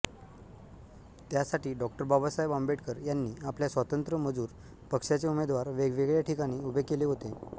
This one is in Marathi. त्यासाठी डॉ बाबासाहेब आंबेडकर यांनी आपल्या स्वतंत्र मजूर पक्ष्याचे उमेदवार वेगवेगळ्या ठिकाणी उभे केले होते